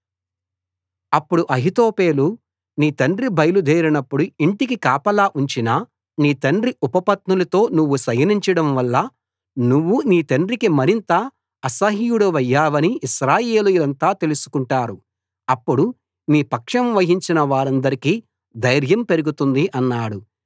అప్పుడు అహీతోపెలు నీ తండ్రి బయలుదేరినప్పుడు ఇంటికి కాపలా ఉంచిన నీ తండ్రి ఉపపత్నులతో నువ్వు శయనించడం వల్ల నువ్వు నీ తండ్రికి మరింత అసహ్యుడవయ్యావని ఇశ్రాయేలీయులంతా తెలుసుకొంటారు అప్పుడు నీ పక్షం వహించిన వారందరికీ ధైర్యం పెరుగుతుంది అన్నాడు